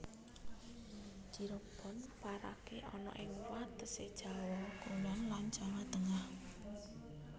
Cirebon parake ana ing watese Jawa Kulon lan Jawa Tengah